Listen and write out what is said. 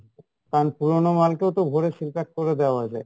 কারন পুরোনো মাল কেউ তো ভরে seal pack করে দেওয়া যাই।